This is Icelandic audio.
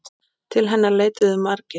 Til hennar leituðu margir.